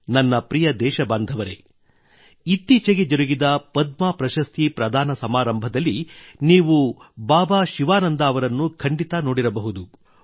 ನನ್ನ ಪ್ರಿಯ ದೇಶಬಾಂಧವರೆ ಇತ್ತೀಚೆಗೆ ಜರುಗಿದ ಪದ್ಮ ಪ್ರಶಸ್ತಿ ಪ್ರದಾನ ಸಮಾರಂಭದಲ್ಲಿ ನೀವು ಬಾಬಾ ಶಿವಾನಂದ ಅವರನ್ನು ಖಂಡಿತ ನೋಡಿರಬಹುದು